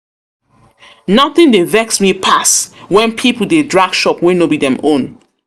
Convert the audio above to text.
Nothing dey vex me pass when people dey drag shop wey no be dem own